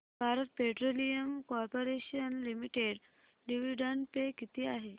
Bharat petroleum corporation limited dividend pay किती आहे